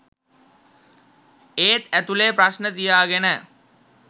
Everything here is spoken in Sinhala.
ඒත් ඇතුළේ ප්‍රශ්න තියාගෙන